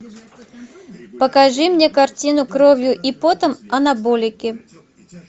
покажи мне картину кровью и потом анаболики